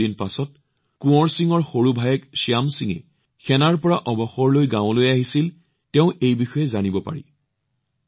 কিছু দিনৰ পিছত কোঁৱৰপ সিঙৰ সৰু ভায়েক শ্যাম সিঙে সেনাৰ পৰা অৱসৰ লয় আৰু গাঁৱলৈ আহে তাৰ পিছত তেওঁ এই বিষয়ে জানিব পাৰিলে